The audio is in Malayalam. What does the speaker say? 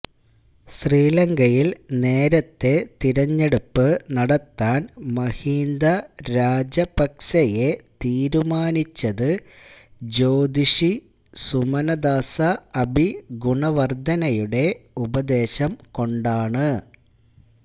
ശ്രീലങ്കയില് നേരത്തെ തിരഞ്ഞെടുപ്പ് നടത്താന് മഹീന്ദ രാജപക്സെയെ തീരുമാനിച്ചത് ജ്യോതിഷി സുമനദാസ അബിഗുണവര്ധനയുടെ ഉപദേശംകൊണ്ടാണ്